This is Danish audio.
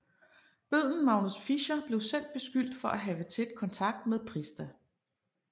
Bøddelen Magnus Fischer blev selv beskyldt for at have haft tæt kontakt med Prista